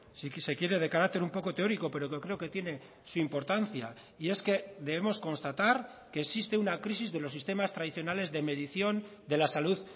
si se quiere de carácter un poco teórico pero que creo que tiene su importancia y es que debemos constatar que existe una crisis de los sistemas tradicionales de medición de la salud